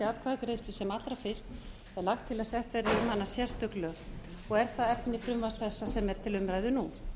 atkvæðagreiðslu sem allra fyrst er lagt til að sett séu um hana sérstök lög og er það efni frumvarps þessa sem er til umræðu nú